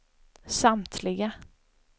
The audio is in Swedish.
samtliga